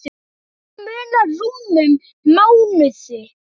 Þarna munar rúmum mánuði.